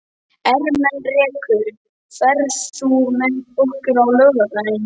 Ermenrekur, ferð þú með okkur á laugardaginn?